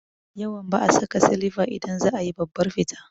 Yawan ba'a saka silifa idan za a yi babbar fita